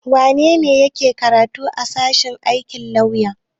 Wane ne yake karatu a sashen aikin lauya?